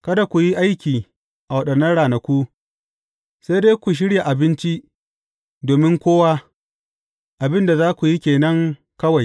Kada ku yi aiki a waɗannan ranaku, sai dai ku shirya abinci domin kowa, abin da za ku yi ke nan kawai.